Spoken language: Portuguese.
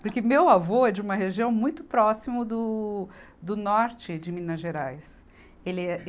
Porque meu avô é de uma região muito próximo do, do norte de Minas Gerais. Ele é, ele